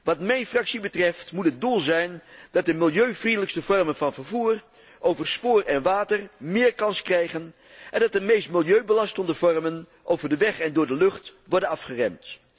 Wat mijn fractie betreft, moet het doel zijn dat de milieuvriendelijkste vormen van vervoer over spoor en water meer kans krijgen en dat de meest milieubelastende vormen over de weg en door de lucht worden afgeremd.